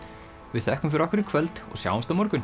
við þökkum fyrir okkur í kvöld og sjáumst á morgun